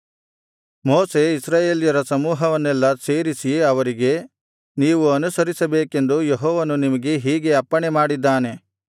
ಮೋಶೆ ಇಸ್ರಾಯೇಲರ ಸಮೂಹವನ್ನೆಲ್ಲಾ ಸೇರಿಸಿ ಅವರಿಗೆ ನೀವು ಅನುಸರಿಸಬೇಕೆಂದು ಯೆಹೋವನು ನಿಮಗೆ ಹೀಗೆ ಅಪ್ಪಣೆ ಮಾಡಿದ್ದಾನೆ